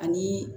Ani